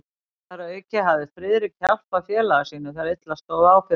Þar að auki hafði Friðrik hjálpað félaga sínum, þegar illa stóð á fyrir honum.